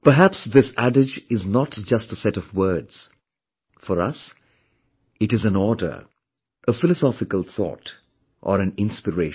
Perhaps this adage is not just a set of words; for us, it is an order a philosophical thought, or an inspiration